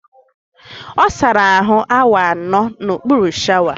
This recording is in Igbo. Ọ sara ahụ awa anọ n'okpuru shawa